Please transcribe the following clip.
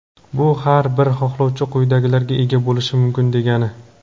Bu – har bir xohlovchi quyidagilarga ega bo‘lishi mumkin degani:.